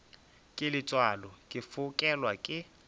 ke letswalo ke fokelwa ke